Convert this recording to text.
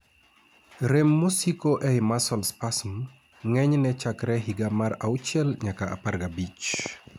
Rem mosiko ei muscle spasms ng'enyne chakre higa mar 6 nyaka 15